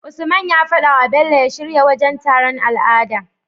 Usman ya fadawa bello ya shirya wajan taron al'ada